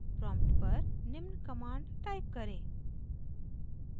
prompt पर निम्न command type करें